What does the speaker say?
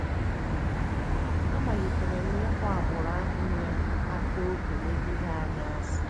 N’ihi ya, amalitere m ịkpọ agbụrụ ahụ na - akpa ókè megide anyị asị. ”